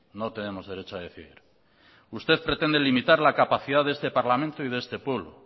no tenemos derecho a decidir usted pretende limitar la capacidad de este parlamento y de este pueblo